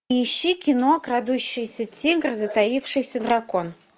ищи кино крадущийся тигр затаившийся дракон